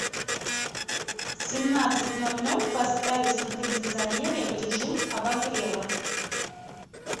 в семнадцать ноль ноль поставить на кондиционере в режим обогрева